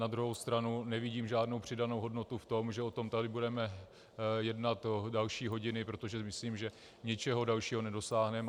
Na druhou stranu nevidím žádnou přidanou hodnotu v tom, že o tom tady budeme jednat další hodiny, protože myslím, že ničeho dalšího nedosáhneme.